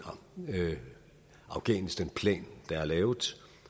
afghanistanplan der er lavet